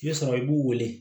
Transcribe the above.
I bɛ sɔrɔ i b'u wele